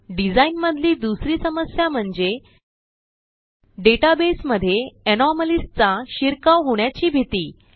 design मधली दुसरी समस्या म्हणजे डेटाबेस मध्ये anomaliesचा शिरकाव होण्याची भीती